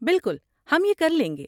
بالکل، ہم یہ کر لیں گے۔